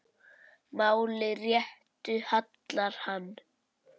Máli réttu hallar hann